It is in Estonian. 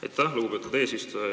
Aitäh, lugupeetud eesistuja!